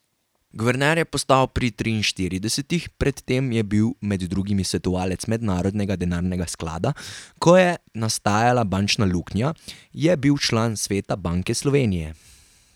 Guverner je postal pri triinštiridesetih, pred tem je bil med drugim svetovalec Mednarodnega denarnega sklada, ko je nastajala bančna luknja, je bil član sveta Banke Slovenije.